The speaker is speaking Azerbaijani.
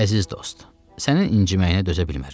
Əziz dost, sənin inciməyinə dözə bilmərəm.